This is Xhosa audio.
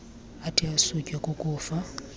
athi asutywe kukufa